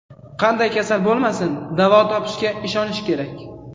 Qanday kasal bo‘lmasin, davo topishga ishonish kerak.